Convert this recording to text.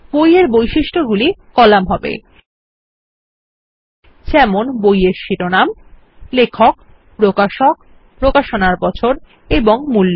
বই এর বৈশিষ্ট্যগুলি কলাম হবে যেমন বইয়ের শিরোনাম লেখক প্রকাশক প্রকাশনার বছর এবং মূল্য